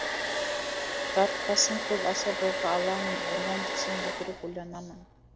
дарытпасын көп аса бойға алаңын ойлан десең өтірік ойланамын